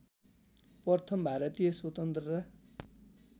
प्रथम भारतीय स्वतन्त्रता